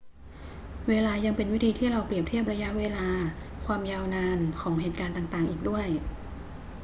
เวลายังเป็นวิธีที่เราเปรียบเทียบระยะเวลา ความยาวนาน ของเหตุการณ์ต่าง ๆ อีกด้วย